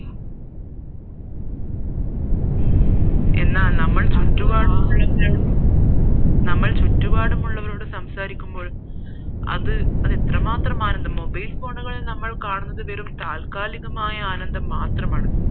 എന്നാൽ നമ്മൾ ചുറ്റുപാട് നമ്മൾ ചുറ്റുപാടും ഉള്ളവരോട് സംസാരിക്കുമ്പോൾ അത് അത് എത്ര മാത്രമാണെന്ന് mobile phone കളിൽ കാണുന്നത് വെറും താൽക്കാലികമായ ആനന്ദം മാത്രമാണ്